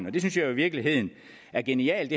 og det synes jeg i virkeligheden er genialt